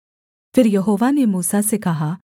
फिर यहोवा ने मूसा से कहा